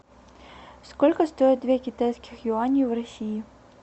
сколько стоит две китайских юани в россии